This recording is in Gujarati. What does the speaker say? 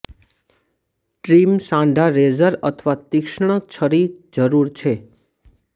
ટ્રીમ સાંઠા રેઝર અથવા તીક્ષ્ણ છરી જરૂર છે